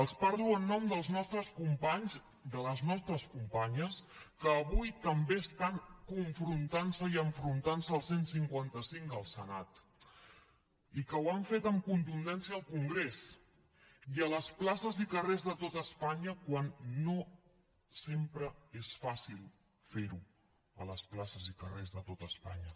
els parlo en nom dels nostres companys de les nostres companyes que avui també estan confrontantse i enfrontantse al cent i cinquanta cinc al senat i que ho han fet amb contundència al congrés i a les places i carrers de tot espanya quan no sempre és fàcil ferho a les places i carrers de tot espanya